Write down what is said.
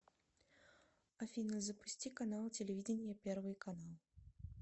афина запусти канал телевидения первый канал